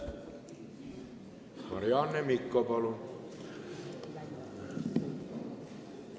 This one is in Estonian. Marianne Mikko, palun!